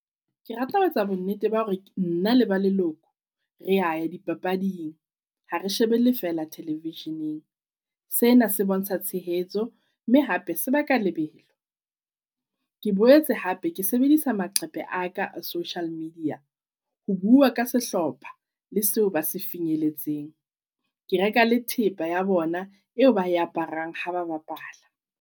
Kerata ho etsa bo nnete ba hore nna le ba leloko reya ya dipapading ha re shebele fela television-eng. Sena se bontsha tshehetso mme hape sebaka lebelo. Ke boetse hape ke sebedisa maqhephe a ka a social media. Ho bua ka sehlopha le seo ba se finyelletseng. Ke reka le thepa ya bona eo ba e aparang ha ba bapala.